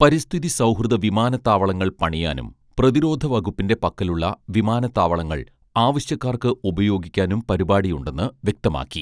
പരിസ്ഥിതി സൗഹൃദ വിമാനത്താവളങ്ങൾ പണിയാനും പ്രതിരോധ വകുപ്പിന്റെ പക്കലുള്ള വിമാനത്താവളങ്ങൾ ആവശ്യക്കാർക്ക് ഉപയോഗിക്കാനും പരിപാടിയുണ്ടെന്ന് വ്യക്തമാക്കി